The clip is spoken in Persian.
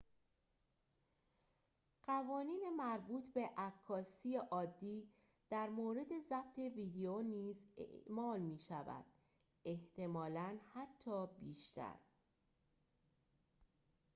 قوانین مربوط به عکاسی عادی در مورد ضبط ویدیو نیز اعمال می شود احتمالاً حتی بیشتر